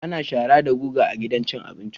Ana shara da guga a gidan abinci kullum